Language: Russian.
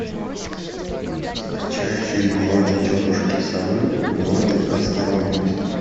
скачай фильм уроки тетушки совы уроки осторожности